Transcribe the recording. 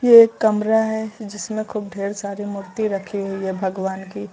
ये एक कमरा है जिसमें खूब ढ़ेर सारी मूर्ति रखी हुई है भगवान की।